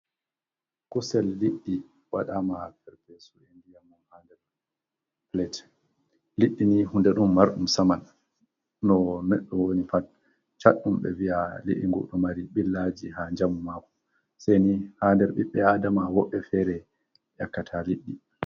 Kuusel lidɗi waɗama ferfesu e ndiyammun ha nder pilet. Lidɗini hunde ɗum marɗum saaman no nedɗo woni pat ,chatdum be viya li’ingudumari billaji ha jamu mako sai ni ha der ɓiɓɓe adama woɓe fere yakkata liddi.